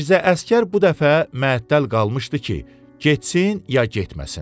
Mirzə Əsgər bu dəfə mətəl qalmışdı ki, getsin ya getməsin.